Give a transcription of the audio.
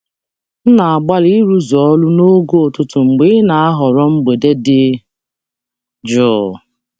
M na-agbalị ịrụzu ọrụ n'oge ụtụtụ mgbe ị na-ahọrọ mgbede dị jụụ.